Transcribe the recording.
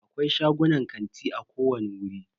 Akwai shagunan kanti a kowani wuri.